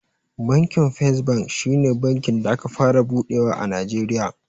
Bankin fes bank shi ne bankin da aka fara buɗewa a najeriya